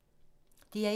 DR1